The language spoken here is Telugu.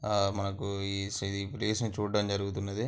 ఆ మనకు ఈ సిడి ఈ ప్లేస్ ని చూడ్డం జరుగుతున్నది.